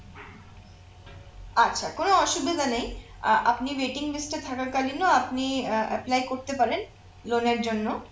আচ্ছা কোন অসুবিধা নেই আহ আপনি waiting list এ থাকাকালীনও আপনি আহ apply করতে পারেন loan এর জন্য